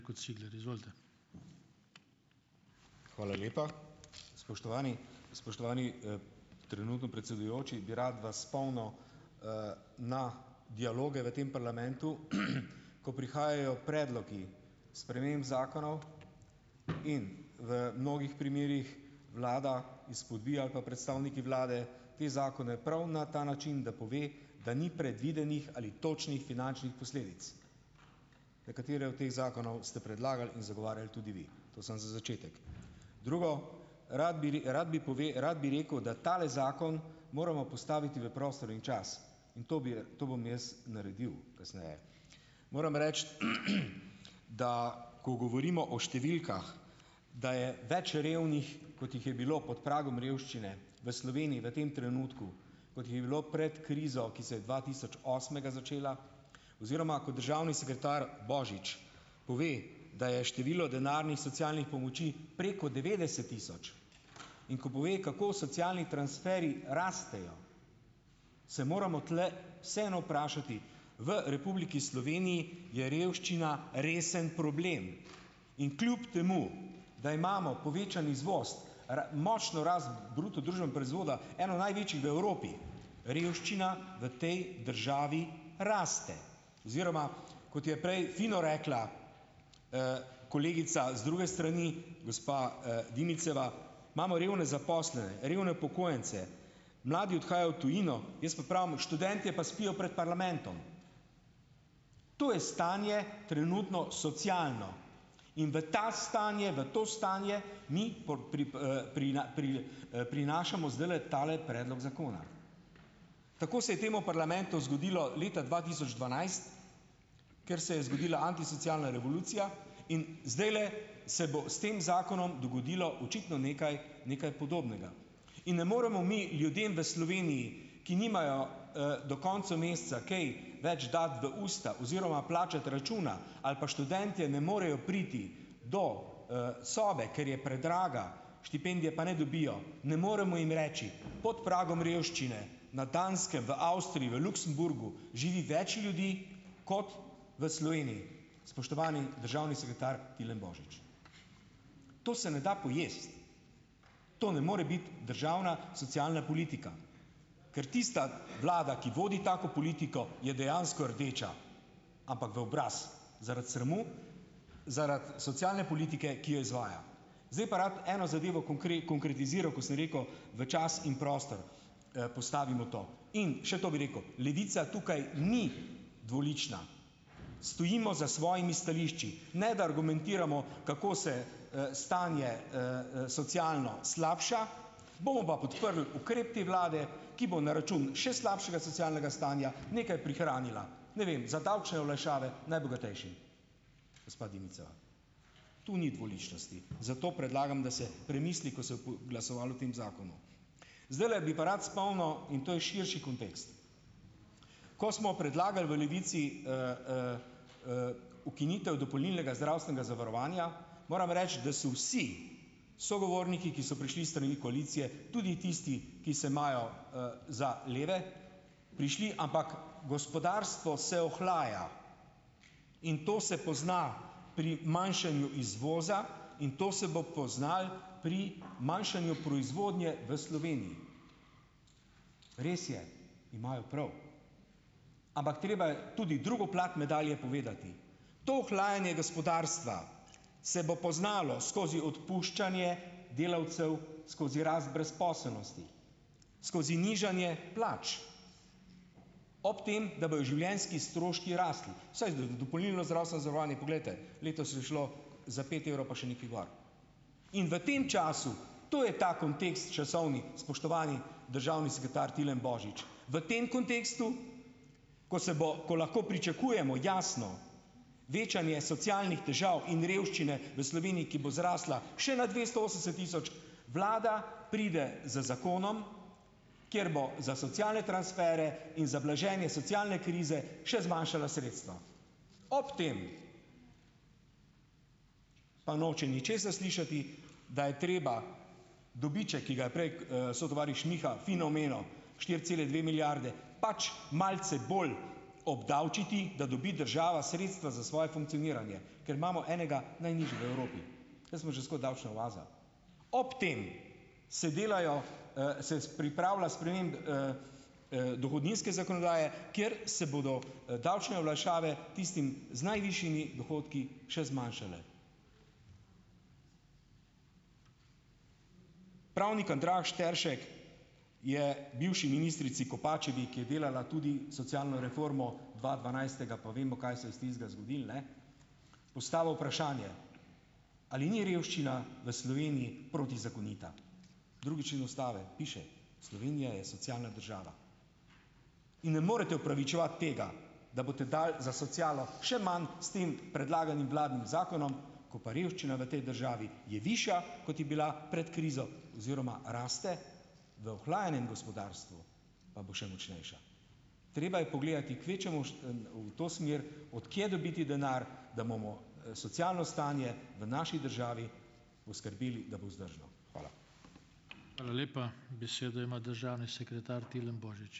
Hvala lepa, spoštovani. Spoštovani, trenutno predsedujoči bi rad vas spomnil, na dialoge v tem parlamentu, ko prihajajo predlogi sprememb zakonov in v mnogih primerih vlada izpodbija ali pa predstavniki vlade te zakone prav na ta način, da pove, da ni predvidenih ali točnih finančnih posledic. Nekatere od teh zakonov ste predlagali in zagovarjali tudi vi, to samo za začetek, drugo, rad bi rad bi rad bi rekel, da tale zakon moramo postaviti v prostor in čas, in to bi in to bom jaz naredil kasneje. Moram reči, da ko govorimo o številkah, da je več revnih, kot jih je bilo pod pragom revščine v Sloveniji v tem trenutku, kot jih je bilo pred krizo, ki se je dva tisoč osmega začela, oziroma ko državni sekretar Božič pove, da je število denarnih socialnih pomoči preko devetdeset tisoč, in ko pove kako socialni transferji rastejo, se moramo tule vseeno vprašati v Republiki Sloveniji je revščina resen problem in kljub temu, da imamo povečan izvoz, močno rast bruto družbenega proizvoda, eno največjih v Evropi, revščina v tej državi raste oziroma, kot je prej fino rekla, kolegica z druge strani, gospa, Dimičeva, imamo revne zaposlene, revne upokojence, mladi odhajajo v tujino, jaz pa pravim, študentje pa spijo pred parlamentom, to je stanje trenutno socialno in v ta stanje v to stanje mi prinašamo zdajle tale predlog zakona. Tako se je v temu parlamentu zgodilo leta dva tisoč dvanajst, ker se je zgodila antisocialna revolucija, in zdajle se bo s tem zakonom dogodilo očitno nekaj nekaj podobnega in ne moremo mi ljudem v Sloveniji, ki nimajo, do konca meseca kaj več dati v usta oziroma plačati računa, ali pa študentje ne morejo priti do, sobe, ker je predraga, štipendije pa ne dobijo, ne moremo jim reči, pod pragom revščine na Danskem, v Avstriji, v Luksemburgu živi več ljudi kot v Sloveniji. Spoštovani državni sekretar Tilen Božič, to se ne da pojesti, to ne more biti državna socialna politika, ker tista vlada, ki vodi tako politiko, je dejansko rdeča, ampak v obraz zaradi sramu, zaradi socialne politike, ki jo izvaja, zdaj pa rad eno zadevo konkretiziral, ko sem rekel, v čas in prostor, postavimo to, in še to bi rekel, Levica tukaj ni dvolična, stojimo za svojimi stališči, ne da argumentiramo, kako se, stanje, socialno slabša, bomo pa podprli ukrep te vlade, ki bo na račun še slabšega socialnega stanja nekaj prihranila, ne vem, za davčne olajšave najbogatejšim, gospa Dimičeva, tu ni dvoličnosti, zato predlagam, da se premisli, ko se glasovalo o tem zakonu, zdajle bi pa rad spomnil, in to je širši kontekst, ko smo predlagali v Levici, ukinitev dopolnilnega zdravstvenega zavarovanja, moram reči, da so vsi sogovorniki, ki so prišli s strani koalicije, tudi tisti, ki se imajo, za leve, prišli, ampak gospodarstvo se ohlaja, in to se pozna pri manjšanju izvoza in to se bo poznalo pri manjšanju proizvodnje v Sloveniji. Res je, imajo prav, ampak treba je tudi drugo plat medalje povedati, do ohlajanja gospodarstva se bo poznalo skozi odpuščanje delavcev skozi rast brezposelnosti, skozi nižanje plač, ob tem, da bojo življenjski stroški rasli, saj dopolnilno zdravstveno zavarovanje, poglejte, letos je šlo za pet evrov pa še nekaj gor, in v tem času, to je ta kontekst časovni, spoštovani državni sekretar Tilen Božič, v tem kontekstu, ko se bo, ko lahko pričakujemo jasno večanje socialnih težav in revščine v Sloveniji, ki bo zrasla še na dvesto osemdeset tisoč, vlada pride z zakonom, kjer bo za socialne transfere in za blaženje socialne krize še zmanjšala sredstva, ob tem pa noče ničesar slišati, da je treba dobiček, ki ga je prej, sotovariš Miha fino omenil, štiri cele dve milijarde, pač malce bolj obdavčiti, da dobi država sredstva za svoje funkcioniranje, ker imamo enega najnižjih v Evropi, mi smo že skoraj davčna oaza, ob tem se delajo, se pripravlja dohodninske zakonodaje, kjer se bodo, davčne olajšave tistim z najvišjimi dohodki še zmanjšale, pravnik Andraž Teršek je bivši ministrici Kopačevi, ki je delala tudi socialno reformo dva dvanajstega, pa vemo, kaj se je s tistega zgodilo, ne, postavil vprašanje, ali ni revščina v Sloveniji protizakonita, drugi člen ustave piše: "Slovenija je socialna država." In ne morete opravičevati tega, da boste dali za socialo še manj s tem predlaganim vladnim zakonom, ko pa revščina v tej državi je višja, kot je bila pred krizo oziroma raste, v ohlajenem gospodarstvu pa bo še močnejša, treba je pogledati kvečjemu v to smer, od kje dobiti denar, da bomo, socialno stanje v naši državi poskrbeli, da bo vzdržno. Hvala.